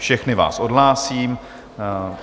Všechny vás odhlásím.